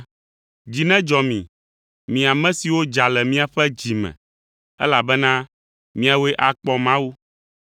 Dzi nedzɔ mi, mi ame siwo dza le miaƒe dzi me, elabena miawoe akpɔ Mawu.